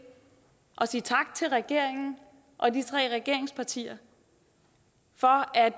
at sige tak til regeringen og de tre regeringspartier for at